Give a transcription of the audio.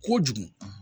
Kojugu